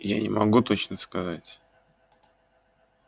я не могу точно сказать